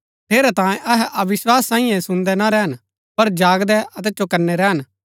ठेरैतांये अहै अविस्वासी सांईये सुन्दै ना रैहन पर जागदै अतै चौकनै रैहन